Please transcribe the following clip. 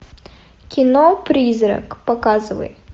кино призрак показывай